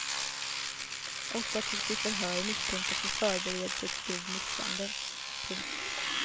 Åtta togs i förhör misstänkta för förberedelse till grov misshandel. punkt